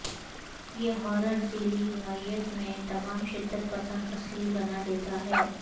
یہ ہارر ذیلی نوعیت یہ تمام شدت پسند اصلی بنا دیتا ہے